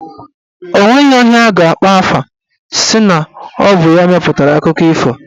Onweghi onye a ga-akpọ aha sị na ọ bụ ya mepụtara akụkọ ifo.